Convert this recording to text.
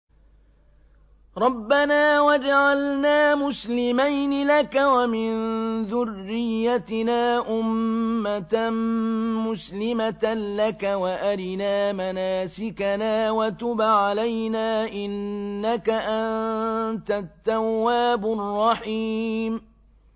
رَبَّنَا وَاجْعَلْنَا مُسْلِمَيْنِ لَكَ وَمِن ذُرِّيَّتِنَا أُمَّةً مُّسْلِمَةً لَّكَ وَأَرِنَا مَنَاسِكَنَا وَتُبْ عَلَيْنَا ۖ إِنَّكَ أَنتَ التَّوَّابُ الرَّحِيمُ